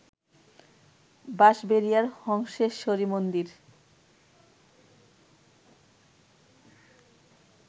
বাঁশবেড়িয়ার হংসেশ্বরী মন্দির